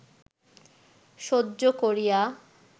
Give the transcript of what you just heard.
সহ্য করিয়া